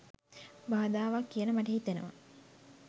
බාධාවක් කියල මට හිතෙනවා